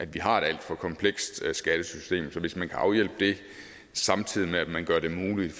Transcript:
vi har et alt for komplekst skattesystem så hvis man kan afhjælpe det samtidig med at man gør det muligt